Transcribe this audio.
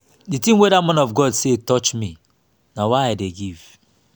the thing wey dat man of god say touch me na why i dey give